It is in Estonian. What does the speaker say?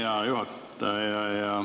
Hea juhataja!